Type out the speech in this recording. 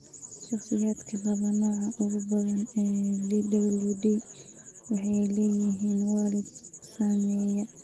Shakhsiyaadka qaba nooca ugu badan ee VWD waxay leeyihiin waalid saameeya.